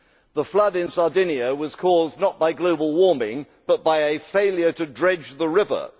The flood in Sardinia was caused not by global warming, but by a failure to dredge the river.